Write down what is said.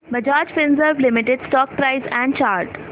Bajaj Finserv limited stock price and chart